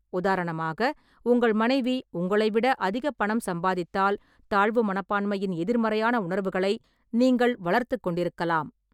உதாரணமாக, உங்கள் மனைவி உங்களை விட அதிக பணம் சம்பாதித்தால், தாழ்வு மனப்பான்மையின் எதிர்மறையான உணர்வுகளை நீங்கள் வளர்த்துக் கொண்டிருக்கலாம்.